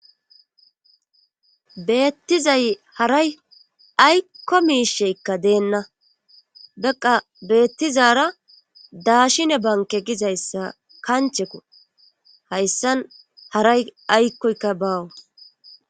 Beettizay haray aykko miisheykka deenna beqa beettizara daashine banke gizayssa kancheko hayssan haray aykkoykka baawu